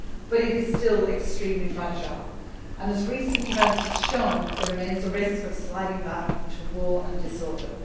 But it is still extremely fragile and, as recent events have shown, there remains a risk of sliding back into war and disorder.